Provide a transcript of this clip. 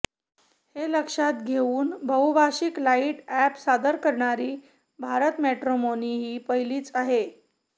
हे लक्षात घेऊन बहुभाषिक लाईट ऍप सादर करणारी भारतमॅट्रिमोनी ही पहिलीच आहे